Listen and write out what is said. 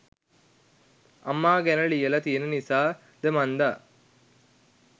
අම්මා ගැන ලියලා තියෙන නිසා ද මන්දා